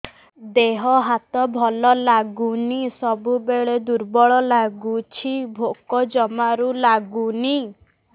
ଦେହ ହାତ ଭଲ ଲାଗୁନି ସବୁବେଳେ ଦୁର୍ବଳ ଲାଗୁଛି ଭୋକ ଜମାରୁ ଲାଗୁନି